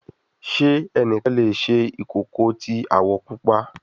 Ṣe ẹnikan le ṣe ikoko ti awọ pupa